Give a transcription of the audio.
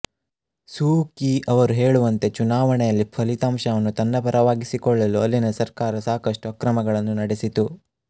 ಸೂ Kyi ಅವರು ಹೇಳುವಂತೆ ಚುನಾವಣೆಯಲ್ಲಿ ಫಲಿತಾಂಶವನ್ನು ತನ್ನ ಪರವಾಗಿಸಿಕೊಳ್ಳಲು ಅಲ್ಲಿನ ಸರ್ಕಾರ ಸಾಕಷ್ಟು ಅಕ್ರಮಗಳನ್ನು ನಡೆಸಿತು